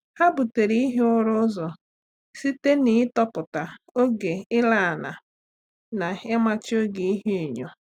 Há butéré ihi ụ́ra ụ́zọ́ site n’ị́tọ́pụ́ta oge íláná na ị́màchí oge ihuenyo.